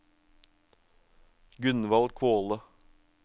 Gunvald Kvåle